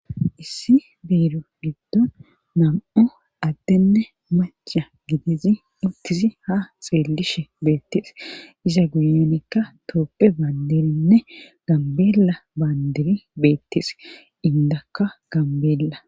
Issi biiru giddon nam'o addenne maccha gidizi intizi haxeellishe beettis iza guyenikka tooppe baandirinne gambeela baandiri beettis indakka gambeella.